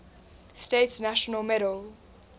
states national medal